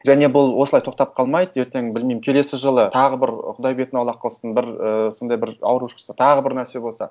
және бұл осылай тоқтап қалмайды ертең білмеймін келесі жылы тағы бір құдай бетін аулық қылсын бір ы сондай бір ауру шықса тағы бір нәрсе болса